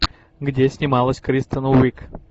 где снималась кристен уиг